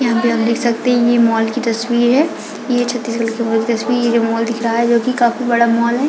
यहाँ पे हम देख सकते है ये मॉल की तस्वीर है ये छत्तीसगढ़ की मॉल की तस्वीर हैं ये मॉल दिख रहा है जो की काफी बड़ा मॉल है।